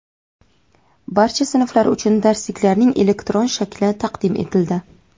Barcha sinflar uchun darsliklarning elektron shakli taqdim etildi.